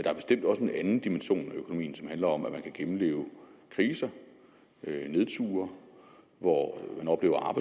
er bestemt også en anden dimension af økonomien som handler om at man kan gennemleve kriser nedture hvor man oplever